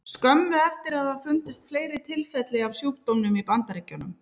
Skömmu eftir það fundust fleiri tilfelli af sjúkdómnum í Bandaríkjunum.